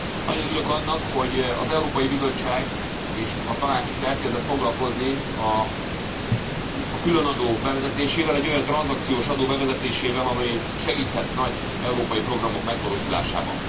Nagyon örülök annak, hogy az Európai Bizottság és a Tanács is elkezdett foglalkozni a különadó bevezetésével, egy olyan tranzakciós adó bevezetésével, amely segíthet nagy európai programok megvalósulásában.